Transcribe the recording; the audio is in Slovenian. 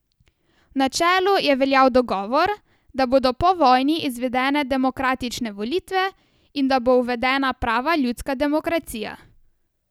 V načelu je veljal dogovor, da bodo po vojni izvedene demokratične volitve in da bo uvedena prava ljudska demokracija.